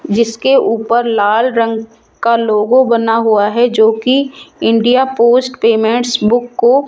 जिसके ऊपर लाल रंग का लोगो बना हुआ है जो की इंडिया पोस्ट पेमेंट्स बुक को --